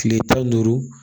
Kile tan ni duuru